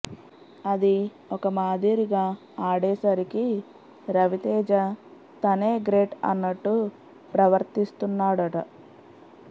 అది ఒక మాదిరిగా ఆడేసరికి రవితేజ తనే గ్రేట్ అన్నట్టు ప్రవర్తిస్తున్నాడట